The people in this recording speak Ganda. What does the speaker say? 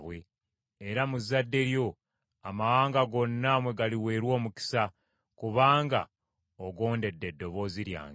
era mu zzadde lyo amawanga gonna mwe galiweerwa omukisa, kubanga ogondedde eddoboozi lyange.”